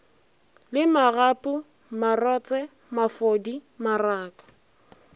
le magapu marotse mafodi maraka